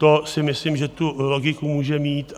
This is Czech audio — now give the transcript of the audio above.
To si myslím, že tu logiku může mít.